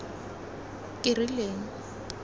kerileng